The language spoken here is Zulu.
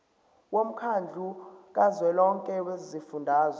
womkhandlu kazwelonke wezifundazwe